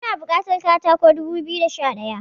Muna bukatar katako dubu biyu da Sha daya